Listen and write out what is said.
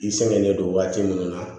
I sɛgɛnnen don waati munnu na